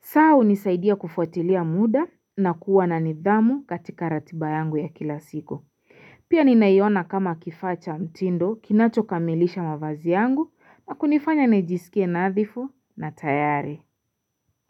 saa hunisaidia kufutilia muda na kuwa na nidhamu katika ratiba yangu ya kila siko Pia ni nayiona kama kifacha mtindo kinacho kamilisha mavazi yangu na kunifanya nejisikie nadhifu na tayari.